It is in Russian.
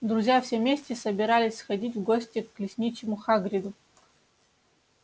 друзья все вместе собирались сходить в гости к лесничему хагриду